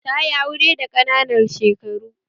Tayi aure da ƙananan shekaru